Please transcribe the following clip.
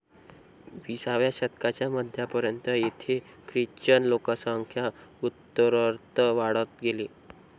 विसाव्या शतकाच्या मध्यापर्यंत, येथे ख्रिश्चन लोकसंख्या उत्तरोत्तर वाढत गेली.